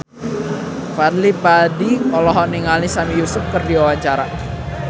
Fadly Padi olohok ningali Sami Yusuf keur diwawancara